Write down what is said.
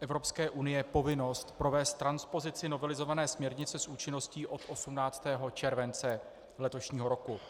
Evropské unie povinnost provést transpozici novelizované směrnice s účinností od 18. července letošního roku.